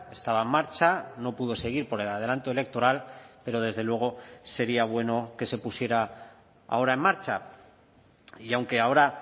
estaba en marcha no pudo seguir por el adelanto electoral pero desde luego sería bueno que se pusiera ahora en marcha y aunque ahora